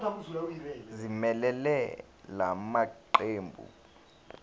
ezimelele la maqembu